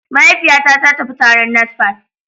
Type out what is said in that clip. Mahaifiyata ta tafi taron NASFAT